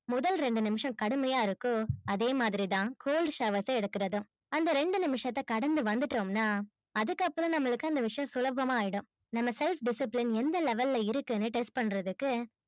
முதல் ரெண்டு நிமிஷம் கடுமையா இருக்கோ அதேமாதிரி தான் cold showers அ எடுக்குறதும் அந்த ரெண்டு நிமிஷத்த கடந்து வந்துட்டோம் னா அதுக்கப்புறம் நம்மளுக்கு அந்த விஷயம் சுலபமா ஆயிடும். நம்ம self discipline எந்த level ல இருக்குனு test பண்றதுக்கு